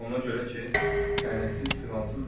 Ona görə ki, tənəsiz filansız dedim.